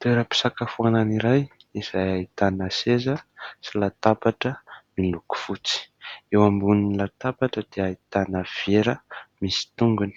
Toeram-pisakafoanana iray izay ahitana seza sy latabatra miloko fotsy. Eo ambonin'ny latabatra dia ahitana vera misy tongony